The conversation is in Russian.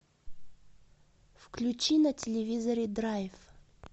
включи на телевизоре драйв